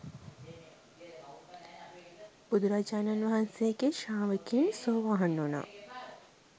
බුදුරජාණන් වහන්සේගේ ශ්‍රාවකයින් සෝවාන් වුණා.